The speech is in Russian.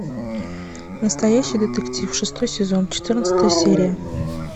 настоящий детектив шестой сезон четырнадцатая серия